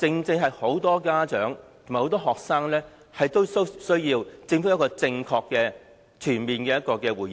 其實很多家長和學生正正需要政府就這個問題作出正確而全面的回應。